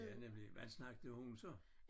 Ja nemlig hvad snakkede hun så?